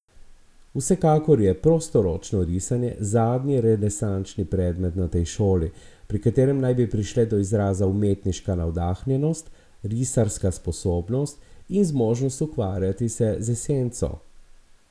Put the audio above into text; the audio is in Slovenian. Vsekakor je prostoročno risanje zadnji renesančni predmet na tej šoli, pri katerem naj bi prišle do izraza umetniška navdahnjenost, risarska sposobnost in zmožnost ukvarjati se z esenco.